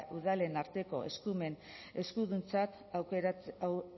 udalen arteko eskuduntzak